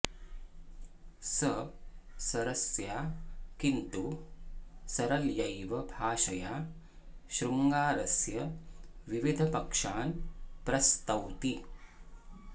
स सरसया किन्तु सरलयैव भाषया शृङ्गारस्य विविधपक्षान् प्रस्तौति